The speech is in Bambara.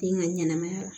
Den ka ɲɛnɛmaya la